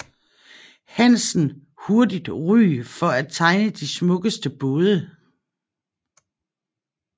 Hansen hurtigt ry for at tegne de smukkeste både